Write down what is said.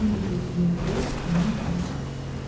Bambi köksünü ötürüb onun dalınca düşdü.